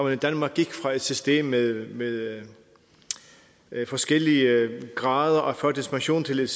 i danmark gik fra et system med med forskellige grader af førtidspension til et